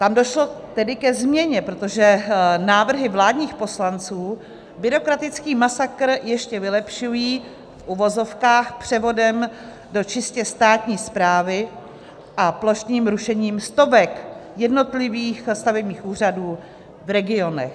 Tam došlo tedy ke změně, protože návrhy vládních poslanců byrokratický masakr ještě vylepšují v uvozovkách převodem do čistě státní správy a plošným rušením stovek jednotlivých stavebních úřadů v regionech.